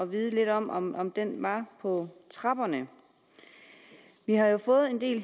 vide lidt om om om den var på trapperne vi har fået en del